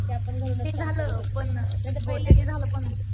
की आपण घरूनच काम करू शकतो.